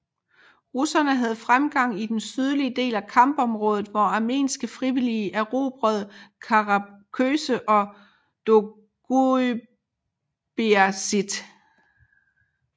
Russerne havde fremgang i den sydlige del af kampområdet hvor armenske frivillige erobrede Karaköse og Doğubeyazıt